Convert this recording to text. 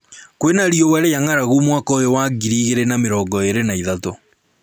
Kwĩna riũa rĩa ngʻaragu mwaka ũyũ wa ngiri igĩrĩ na mĩrongo ĩrĩ na ithatũ